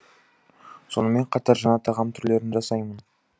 сонымен қатар жаңа тағам түрлерін жасаймын